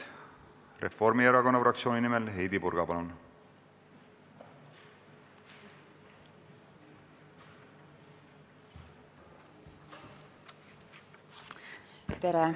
Reformierakonna fraktsiooni nimel Heidy Purga, palun!